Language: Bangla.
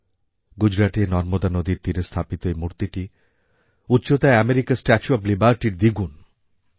গুজরাটে নর্মদা নদীর তীরে স্থাপিত এই মূর্তিটি উচ্চতায় আমেরিকার স্ট্যাচু অব লিবার্টির দ্বিগুণ